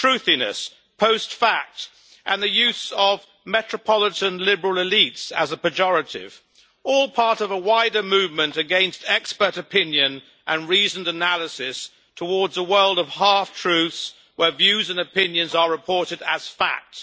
Truthiness', post fact' and the use of metropolitan liberal elites' as a pejorative, are all part of a wider movement against expert opinion and reasoned analysis towards a world of half truths where views and opinions are reported as facts.